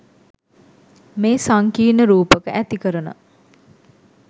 මේ සංකීර්ණ රූපක ඇතිකරන